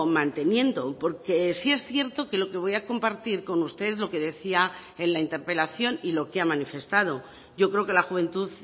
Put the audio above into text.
manteniendo porque sí es cierto que lo que voy a compartir con ustedes lo que decía en la interpelación y lo que ha manifestado yo creo que la juventud